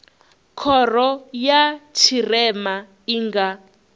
khoro ya tshirema i nga